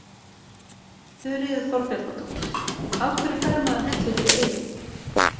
Þuríður Þorbjarnardóttir: Af hverju fær maður hellu fyrir eyrun?